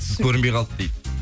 сіз көрінбей қалды дейді